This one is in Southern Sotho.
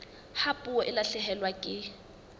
ha puo e lahlehelwa ke